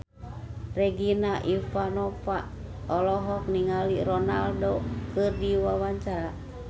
Regina Ivanova olohok ningali Ronaldo keur diwawancara